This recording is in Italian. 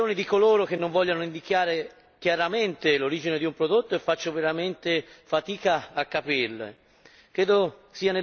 Mi chiedo quali siano le ragioni di coloro che non vogliono indicare chiaramente l'origine di un prodotto e faccio veramente fatica a capirle.